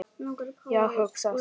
Já, hugsa sér!